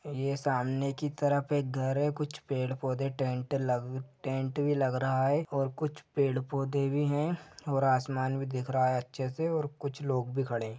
यह सामने की तरफ एक घर है कुछ पेड़ पौधे टेंट लग टेंट भी लग रहा है और कुछ पेड़ पौधे भी है और आसमान भी दिख रहा है अच्छे से कुछ लोग भी खड़े है।